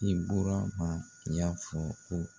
Ibɔrama y'a fɔ ko